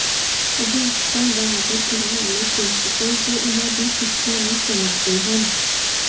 ਅਧਿਆਪਕਾਂ ਦਾ ਆਦਰ ਕਰਨ ਵਾਲੇ ਪ੍ਰਿੰਸੀਪਲ ਜੋ ਉਨ੍ਹਾਂ ਦੀ ਸਿੱਖਿਆ ਨੂੰ ਸਮਝਦੇ ਹਨ